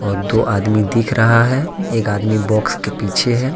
वो दो आदमी दिख रहा है एक आदमी बॉक्स के पीछे है।